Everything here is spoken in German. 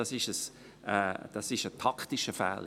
Das ist ein taktischer Fehler.